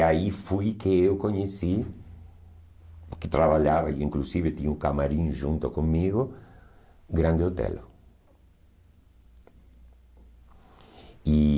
E aí fui que eu conheci, que trabalhava, inclusive tinha um camarim junto comigo, grande hotel. E